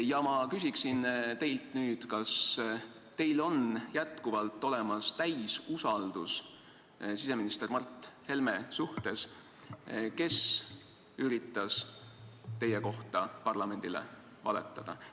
Ja ma küsin teilt nüüd: kas teil on endiselt olemas täielik usaldus siseminister Mart Helme vastu, kes üritas teie kohta parlamendile valetada?